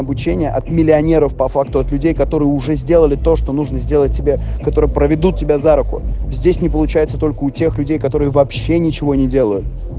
обучение от миллионеров по факту от людей которые уже сделали то что нужно сделать себе которые проведут тебя за руку здесь не получается только у тех людей которые вообще ничего не делают